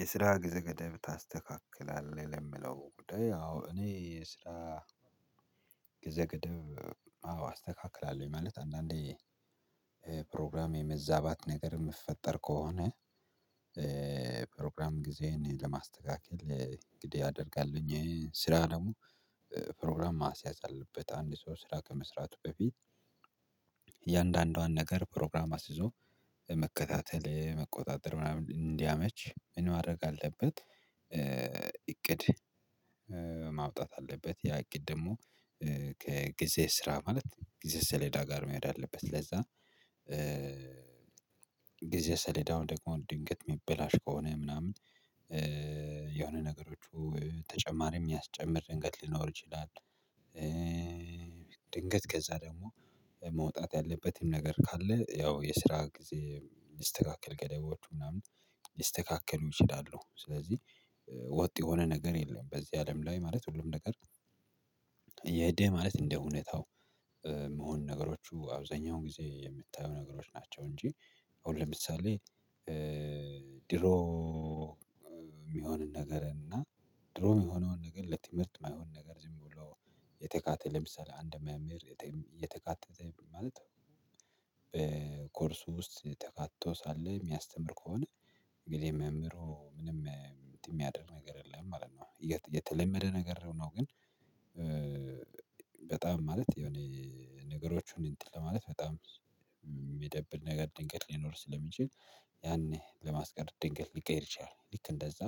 የስራ ግዜ ገደብ ታስተካክላለህ የምለው ጉዳይ አዎ እኔ ስራ ግዜ ገደብ አዎ አስተካክላለሁኝ። ማለት አንዳንዴ ፕሮግራም የመዛባት ነገር የምፈጠር ከሆነ የስራ ግዜ ገደብ ታስተካክላለህ የምለው ጉዳይ አዎ እኔ ስራ ግዜ ገደብ አዎ አስተካክላለሁኝ ማለት አንዳንዴ ፕሮግራም የመዛባት ነገር የምፈጠር ከሆነ መከታተል መቆጣጠር ምናምን እንዲያመች ምን ማድረግ አለበት? እቅድ ማውጣት አለበት ያ እቅድ ደግሞ ጊዜ ሰሌዳ ጋር መሄድ አለበት ለዛ ጊዜ ሰሌዳው ደግሞ ድንገት የሚበላሽ ከሆነ ምናምን የሆነ ነገሮቹ ተጨማሪ የሚያስጨምር ድንገት ሊኖር ይችላል። ድንገት ከዛ ደግሞ መውጣት ያለበትን ነገር ካለ ያው የስራ ጊዜ ሊስተካከል ገደቦቹ ምናምን ሊስተካከሉ ይችላሉ። ስለዚህ ወጥ የሆነ ነገር የለም በዚህ አለም ላይ ማለት ሁሉም ነገር የሄደ ማለት እንደ ሁኔታው የምሆን ነገሮቹ አብዛኛውን ጊዜ የምታየው ነገሮች ናቸው። እንጂ አሁን ለምሳሌ ድሮ የሚሆን ነገር እና ድሮ የሆነዉን ነገር ለትምህርት የማይሆን ነገር ዝም ብሎ የተካተተ ለምሳሌ አንድ መምህር የተካተተ ማለት በኮርሱ ውስጥ ተካትቶ ሳለ የሚያስተር ከሆነ እንግዲህ መምህሩ ምንም የሚያደርግ ነገር የለም ማለት ነው የተለመደ ነገር ነው። ግን በጣም ማለት የሆነ ነገሮችን እንትን ለማለት በጣም የሚደብር ነገር ድንገት ሊኖር ስለሚችል ያኔ ለማስቀረት ድንገት ሊቀይር ይችላል። ልክ እንደዛ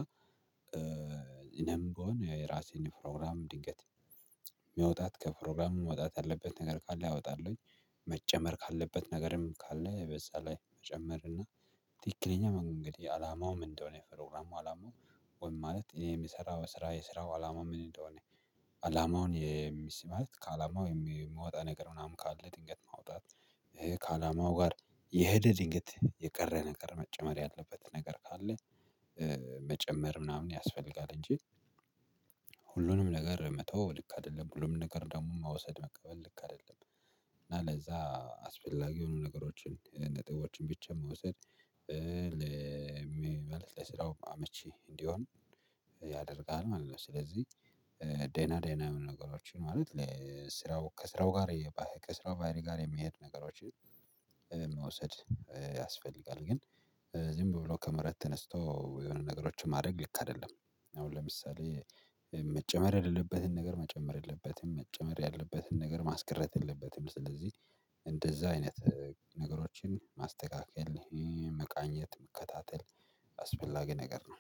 እኔም ብሆን የራሴን ፕሮግራም ድንገት መውጣት ከፕሮግራሙ መውጣት ያለበት ነገር ካለ አወጣለሁኝ። መጨመር ካለበት ነገርም ካለ በዛ ላይ መጨመር እና ትክክለኛ መንገድ አላማው ምን እንደሆነ የፕሮግራሙ አላማው ወይም ማለት የሚሰራው ስራ የስራው አላማ ምን እንደሆነ አላማውን የሚስ ማለት ከአላማው የምወጣ ነገር ምናምን ካለ ድንገት ማውጣት ከአላማው ጋር የሄደ ድንገት የቀረ ነገር መጨመር ያለበት ነገር ካለ መጨመር ምናምን ያስፈልጋል። እንጂ ሁሉንም ነገር መተው ልክ አይደለም ሁሉም ነገር ደግሞ መውሰድ መቀበል ልክ አይደለም። እና ለዛ አስፈላጊ የሆኑ ነገሮችን ነጥቦችን ብቻ መውሰድ ለምሳሌ ለስራው አመቺ እንዲሆን ያደርጋል ማለት ነው። ስለዚህ ደና ደና የሆኑ ነገሮችን ማለት ለስራው ከስራው ጋር ከስራው ባሀሪ ጋር የሚሄድ ነገሮችን መውሰድ ያስፈልጋል። ግን ዝም ብሎ ከመሬት ተነስቶ የሆነ ነገሮችን ማድረግ ልክ አይደለም። መጨመር የሌለበትን ነገር መጨመር የለበትም መጨመር ያለበትን ማስቀረት የለበትም ነገር ማስቀረት የለበትም። ስለዚህ እንደዛ አይነት ነገሮችን ማስተካከል የለም መቃኘት መከታተል አስፈላጊ ነገር ነው።